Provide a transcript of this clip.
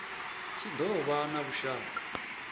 tshi do vha na vhushaka